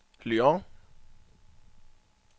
Lyon